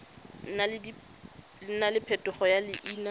nna le phetogo ya leina